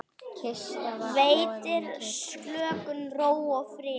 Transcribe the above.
Veitir slökun, ró og frið.